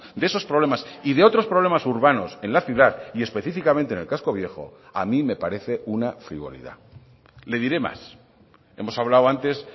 de esos problemas y de otros problemas urbanos en la ciudad y específicamente en el casco viejo a mí me parece una frivolidad le diré más hemos hablado antes